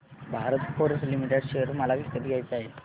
Bharat Forge Limited share मला विकत घ्यायचे आहेत